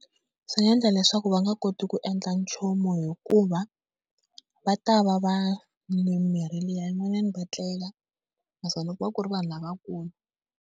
Swi nga endla leswaku va nga koti ku endla nchumu, hikuva va ta va va nwile mimirhi liya. Van'wanyani va tlela naswona ku va ku ri vanhu lavakulu.